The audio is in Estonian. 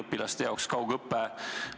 Õpilased on olnud kaugõppel.